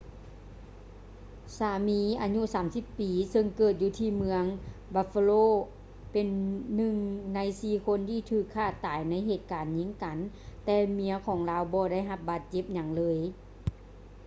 ສາມີອາຍຸ 30 ປີ ເຊິ່ງເກີດຢູ່ທີ່ເມືອງ buffalo ເປັນໜຶ່ງໃນສີ່ຄົນທີ່ຖືກຂ້າຕາຍໃນເຫດການຍິງກັນ ແຕ່ເມຍຂອງລາວບໍ່ໄດ້ຮັບບາດເຈັບຫຍັງເລີຍ